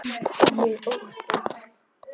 Ég óttast.